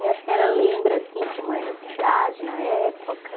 E a senhora lembra, assim, como era a cidade na época?